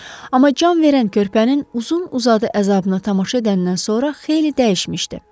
Amma can verən körpənin uzun-uzadı əzabına tamaşa edəndən sonra xeyli dəyişmişdi.